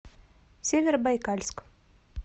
северобайкальск